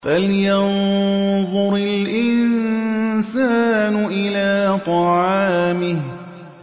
فَلْيَنظُرِ الْإِنسَانُ إِلَىٰ طَعَامِهِ